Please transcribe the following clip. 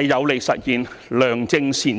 有利實現良政善治。